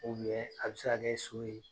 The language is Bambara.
a be se ka kɛ so ye.